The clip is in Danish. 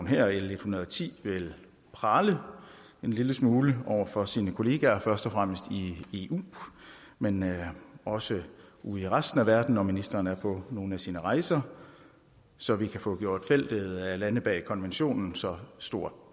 her l en hundrede og ti vil prale en lille smule over for sine kollegaer først og fremmest i eu men men også ude i resten af verden når ministeren er på nogle af sine rejser så vi kan få gjort feltet af lande bag konventionen så stort